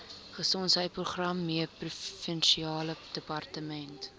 gesondheidsprogramme provinsiale departement